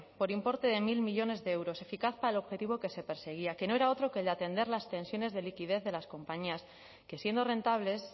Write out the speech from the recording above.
por importe de mil millónes de euros eficaz para el objetivo que se perseguía que no era otro que el de atender las tensiones de liquidez de las compañías que siendo rentables